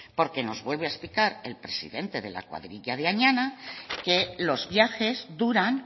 porque nos vuelve a explicar el presidente de la cuadrilla de añana que los viajes duran